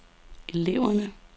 eleverne